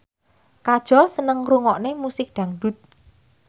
Kajol seneng ngrungokne musik dangdut